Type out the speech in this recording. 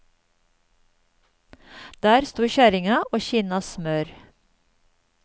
Der sto kjerringa og kinna smør.